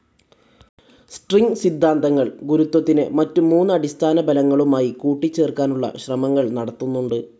String സിദ്ധാന്തങ്ങൾഗുരുത്വത്തിനെ മറ്റു മൂന്ന് അടിസ്ഥാന ബലങ്ങളുമായി കൂട്ടിച്ചേർക്കാനുള്ള ശ്രമങ്ങൾ നടത്തുന്നുണ്ട്.